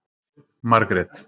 Margrét